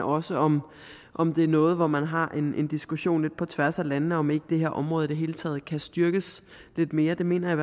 også om om det er noget hvor man har en diskussion lidt på tværs af landene og om ikke det her område i det hele taget kan styrkes lidt mere det mener jeg